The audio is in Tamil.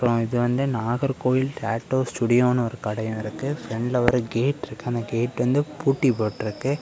இது வந்து நாகர்கோயில் டாட்டூ ஸ்டூடியோன்னு ஒரு கடையு இருக்கு ஃப்ரெண்ட்ல ஒரு கேட் இருக்கு அந்த கேட் வந்து பூட்டி போட்டுருக்கு.